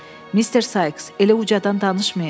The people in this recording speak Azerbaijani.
Mr. Sykes, elə ucadan danışmayın.